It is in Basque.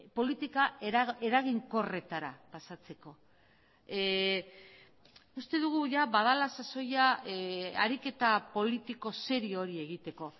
politika eraginkorretara pasatzeko uste dugu badela sasoia ariketa politiko serio hori egiteko